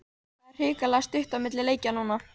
Það er hrikalega stutt á milli leikja núna.